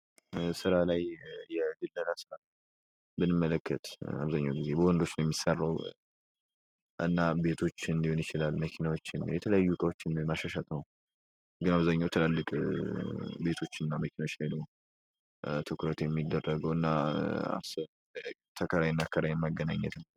ስራ ላይ የድለላ ስራን ብንመለከት በወንዶች የሚሰራው። ቤቶች ሊሆን ይችን